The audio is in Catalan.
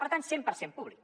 per tant cent per cent públic